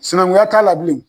Sinankunya t'a la bilen.